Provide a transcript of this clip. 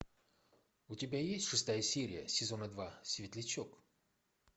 у тебя есть шестая серия сезона два светлячок